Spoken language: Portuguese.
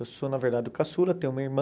Eu sou, na verdade, o caçula, tenho uma irmã.